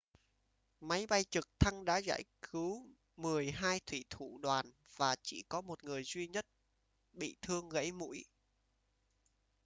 máy bay trực thăng đã giải cứu mười hai thủy thủ đoàn và chỉ có một người duy nhất bị thương gẫy mũi